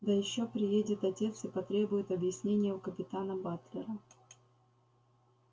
да ещё приедет отец и потребует объяснения у капитана батлера